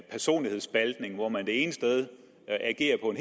personlighedsspaltning hvor man det ene sted agerer på